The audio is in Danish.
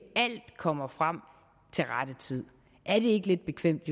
kommer frem til rette tid er det ikke lidt bekvemt